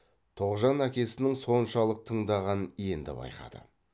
тоғжан әкесінің соншалық тыңдағанын енді байқады